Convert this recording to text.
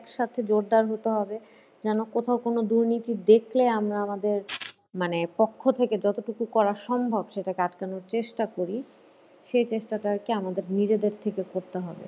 যেন কোথাও কোনো দুর্নীতি দেখলে আমরা আমাদের মানে পক্ষ থেকে যতটুকু করা সম্ভব সেটাকে আটকানোর চেষ্টা করি, সেই চেষ্টাটা আর কি আমাদের নিজেদের থেকে করতে হবে।